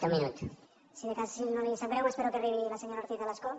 si de cas si no li sap greu m’espero que arribi la senyora ortiz a l’escó